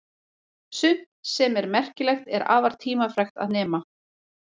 Sumt sem er merkilegt er afar tímafrekt að nema.